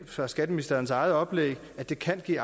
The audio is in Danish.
fra skatteministerens eget oplæg det kan give